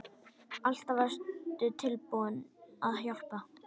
Alltaf varstu tilbúin að hjálpa.